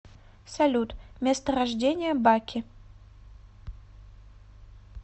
салют место рождения баки